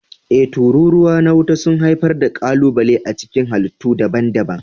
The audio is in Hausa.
E, tururuwa na wuta sun haifar da ƙalubale a cikin halittu daban-daban.